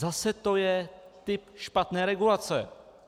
Zase je to typ špatné regulace.